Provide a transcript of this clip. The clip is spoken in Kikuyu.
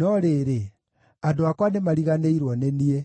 No rĩrĩ, andũ akwa nĩmariganĩirwo nĩ niĩ;